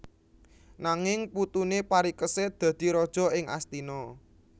Nanging putuné Parikesit dadi raja ing Astina